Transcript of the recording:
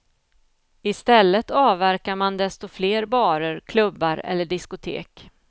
Istället avverkar man desto fler barer, klubbar eller diskotek.